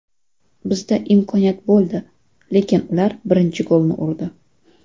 Bizda imkoniyat bo‘ldi, lekin ular birinchi golni urdi.